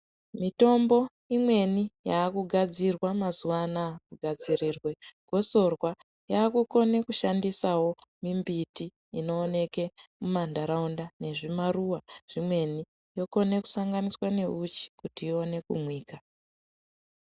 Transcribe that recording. Mitombo imweni yaakugadzirwa mazuwa anaya, kugadzirirwe gosorwa, yaakukone kushandisawo mimbiti inooneke mumantaraunda nezvimaruwa zvimweni. Inokone kusanganiswa neuchi , kuti ikone kumwika.